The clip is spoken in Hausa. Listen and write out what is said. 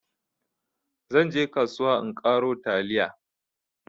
zan je kasuwa in karo taliya